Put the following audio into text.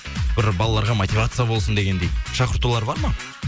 бір балаларға мотивация болсын дегендей шақыртулар бар ма